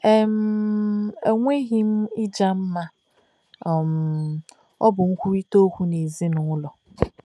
E um nweghị um ịja mma ma um ọ bụ nkwurịta okwu n'ezinụlọ.